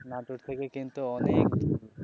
নাটোর থেকে কিন্তু অনেক দূর.